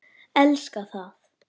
Elska það.